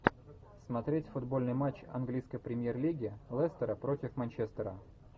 смотреть футбольный матч английской премьер лиги лестера против манчестера